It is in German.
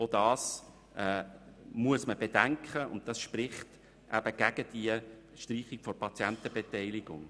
Auch das muss man bedenken, und das spricht gegen die Streichung der Patientenbeteiligung.